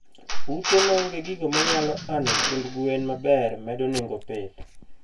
Ute maonge gigo manyalo ano chiemb gwen maber medo nengo pith